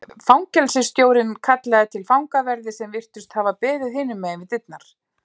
Fangelsisstjórinn kallaði til fangaverði sem virtust hafa beðið hinum megin við dyrnar.